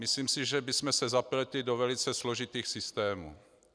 Myslím si, že bychom se zapletli do velice složitých systémů.